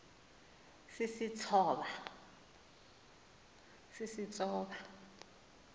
sisistoba